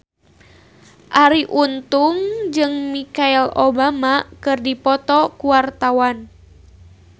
Arie Untung jeung Michelle Obama keur dipoto ku wartawan